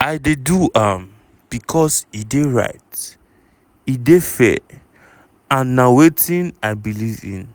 "i dey do am becos e dey right e dey fair and na wetin i believe in"